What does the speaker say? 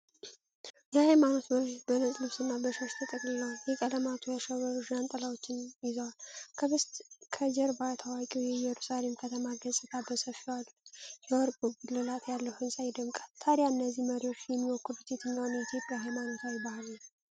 የሃይማኖት መሪዎች በነጭ ልብስና በሻሽ ተጠቅልለው፣ በቀለማት ያሸበረቁ ዣንጥላዎችን ይዘዋል። ከጀርባ ታዋቂው የኢየሩሳሌም ከተማ ገጽታ በሰፊው አለ፤ የወርቅ ጉልላት ያለው ሕንፃ ይደመቃል። ታዲያ እነዚህ መሪዎች የሚወክሉት የትኛውን የኢትዮጵያ ሃይማኖታዊ በዓል ነው?